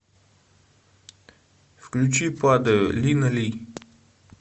включи падаю лина ли